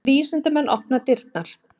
Vísindamenn opna dyrnar